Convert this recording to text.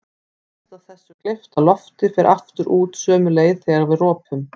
Mest af þessu gleypta lofti fer aftur út sömu leið þegar við ropum.